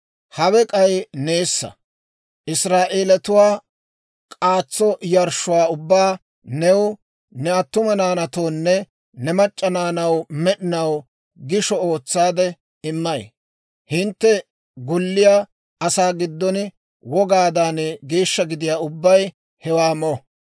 «Hawe k'ay neessa. Israa'eelatuwaa k'aatso yarshshuwaa ubbaa new, ne attuma naanatoonne ne mac'c'a naanaw med'inaw gishsha ootsaade immay; hintte golliyaa asaa giddon wogaadan geeshsha gidiyaa ubbay hewaa mo.